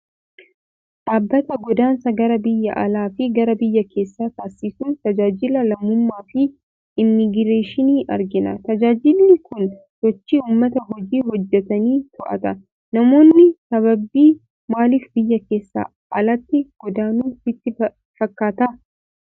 Dhaabbata godaansa gara biyya alaa fi gara biyya keessaa taasisu, tajaajila lammummaa fi Immigireeshinii argina. Tajaajilli kun sochii uummata hojii hojjetanii to'ata. Namoonni sababii maaliif biyya keessaa alatti godaanu sitti fakkaata?